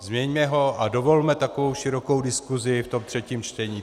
Změňme ho a dovolme takovou širokou diskusi v tom třetím čtení.